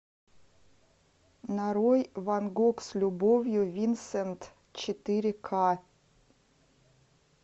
нарой ван гог с любовью винсент четыре ка